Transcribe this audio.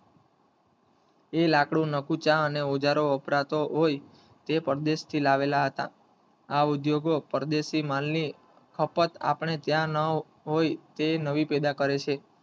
એ લાકડું નકુચા અને ઓઝારો વપરાતા હોય તે પરદેશ થી લાવેલા હતા આ ઉદ્યોગો પરદેશ થી માલ હપત આપણે ત્યાં ના હોય તે નવી પેદા કરે છે